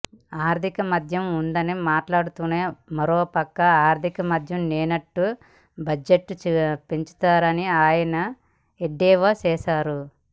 ఆర్థిక మాంద్యం ఉందని మాట్లాడుతూనే మరోపక్క ఆర్థిక మాంద్యం లేనట్టు బడ్జెట్ పెంచుతారని ఆయన ఎద్దేవా చేశారు